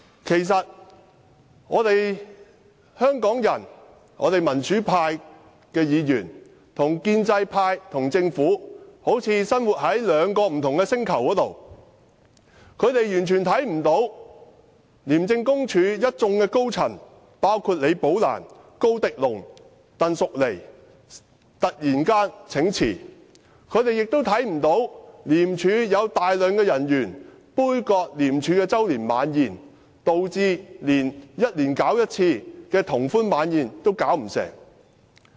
其實，香港市民和民主派議員與建制派和政府好像生活在兩個不同的星球，他們完全看不到廉署高層，包括李寶蘭、高迪龍及鄧淑妮突然請辭，他們亦看不到廉署大批人員杯葛廉署的周年晚宴，導致每年舉辦一次的聯歡晚宴也辦不成。